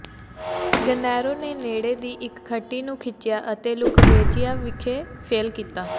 ਗੈਨਰੋ ਨੇ ਨੇੜੇ ਦੀ ਇਕ ਖੱਟੀ ਨੂੰ ਖਿੱਚਿਆ ਅਤੇ ਲੁਕਰੇਜ਼ੀਆ ਵਿਖੇ ਫੇਲ੍ਹ ਕੀਤਾ